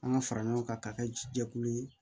An ka fara ɲɔgɔn kan ka kɛ jɛkulu ye